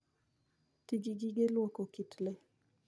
Ti gi gige lwoko kit le.